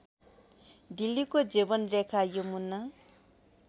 दिल्लीको जीवनरेखा यमुना